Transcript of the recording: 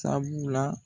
Sabula